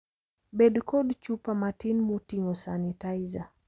Bed kod chupa matin moting'o sanitizer.